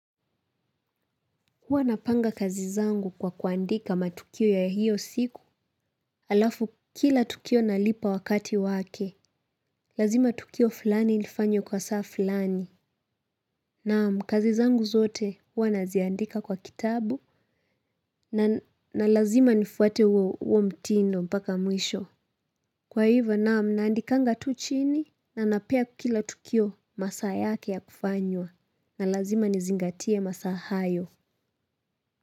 Huwa napanga kazi zangu kwa kuandika matukio ya hiyo siku. Alafu kila tukio nalipa wakati wake. Lazima tukio fulani ilifanywe kwa saa fulani. Naam. Kazi zangu zote huwa naziandika kwa kitabu. Na lazima nifuate huo huo mtindo mpaka mwisho. Kwa hivyo naam, naandikanga tu chini. Na napea kila tukio masaa yake ya kufanywa. Na lazima nizingatie masaa hayo.